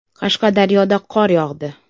Qashqadaryoda qor yog‘di .